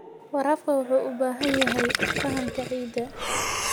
Waraabka wuxuu u baahan yahay fahamka ciidda.